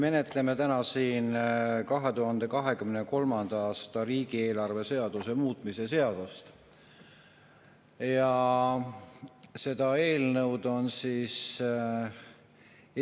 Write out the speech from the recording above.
Me menetleme täna siin 2023. aasta riigieelarve seaduse muutmise seaduse.